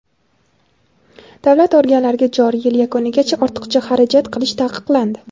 Davlat organlariga joriy yil yakunigacha ortiqcha xarajat qilish taqiqlandi.